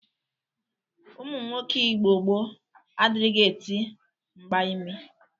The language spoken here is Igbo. Ụmụnwoke Igbo gboo adịrịghị eti mgba imi.